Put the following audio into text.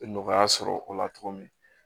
Nɔgɔya sɔrɔ o la cogo min